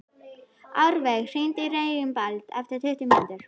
Árveig, hringdu í Reginbald eftir tuttugu mínútur.